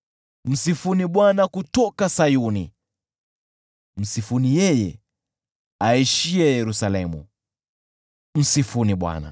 Msifuni Bwana kutoka Sayuni, msifuni yeye aishiye Yerusalemu. Msifuni Bwana .